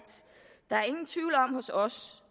der hos os